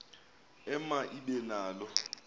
ema ibe nalo